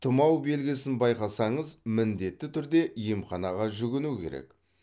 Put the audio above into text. тұмау белгісін байқасаңыз міндетті түрде емханаға жүгіну керек